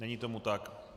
Není tomu tak.